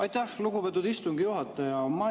Aitäh, lugupeetud istungi juhataja!